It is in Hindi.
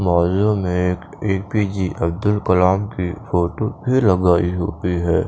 वाल में एक ए_पी_जे अब्दुल कलाम की फोटो भी लगाई हुई है।